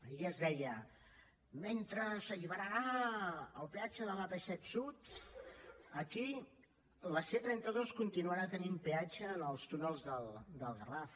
ahir es deia mentre s’alliberarà el peatge de l’ap set sud aquí la c trenta dos continuarà tenint peatge en els túnels del garraf